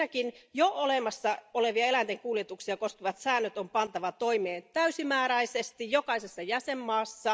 Ensinnäkin jo olemassa olevat eläinten kuljetuksia koskevat säännöt on pantava toimeen täysimääräisesti jokaisessa jäsenvaltiossa.